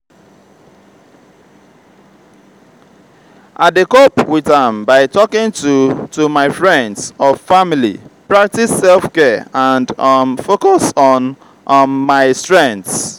i dey cope with am by talking to to my friends or family preactice self-care and um focus on um my strengths.